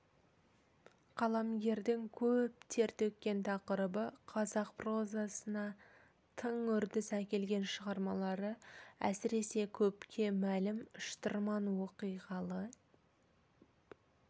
қаламгердің көп тер төккен тақырыбы қазақ прозасына тың үрдіс әкелген шығармалары әсіресе көпке мәлім шытырман оқиғалы